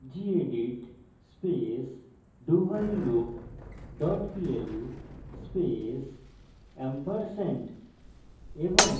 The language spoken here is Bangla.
gedit space dowhileloop dot pl space &